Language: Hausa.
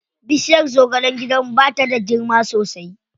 Bishirya zagalen gidanmu ba ta da girma sosai.